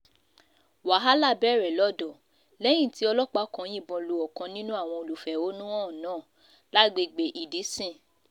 um wàhálà bẹ̀rẹ̀ lọ́dọ̀ lẹ́yìn tí lẹ́yìn tí ọlọ́pàá kan yìnbọn lu ọ̀kan um nínú àwọn olùfẹ̀hónú náà lágbègbè ìdísìn